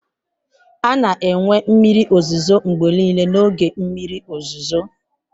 A na-enwe mmiri ozuzo mgbe niile n'oge mmiri ozuzo.